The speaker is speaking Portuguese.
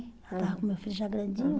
Eu estava com meu filho já grandinho.